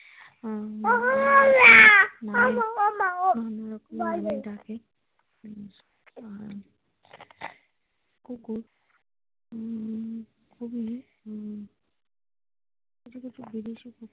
নানারকম নামে ডাকে আর কুকুর উম কিছু কিছু বিদেশি কুকুর।